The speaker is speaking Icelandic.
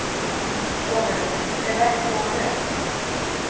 Sonurinn: Eða ekki nógu vel.